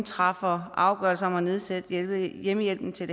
træffer afgørelse om at nedsætte hjemmehjælpen til